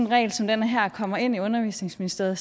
regel som den her kommer ind i undervisningsministeriet